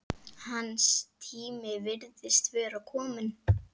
Hans tími virðist vera kominn.